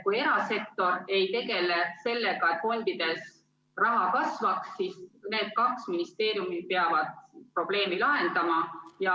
Kui erasektor ei tegele sellega, et fondides raha kasvaks, siis need kaks ministeeriumi peavad probleemi lahendama.